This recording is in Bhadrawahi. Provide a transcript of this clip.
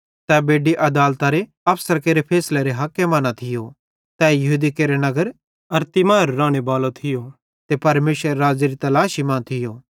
तै बेड्डी आदालत अफसरां केरे फैसलेरे हके मां न थियो तै यहूदी केरे नगर अरिमतियाह रानेबालो थियो ते परमेशरेरे राज़्ज़ेरे तलाशी मां थियो